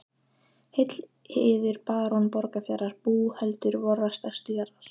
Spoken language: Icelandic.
Heill yður barón Borgarfjarðar búhöldur vorrar stærstu jarðar.